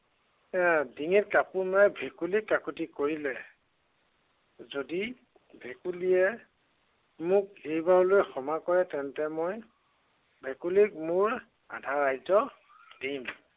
এৰ ডিঙিত কাপোৰ মৰা ভেকুলীক কাকুতি কৰিলে যদি, ভেকুলীয়ে মোক এইবাৰলৈ ক্ষমা কৰে তেন্তে মই, ভেকুলীক মোৰ আধা ৰাজ্য় দিম।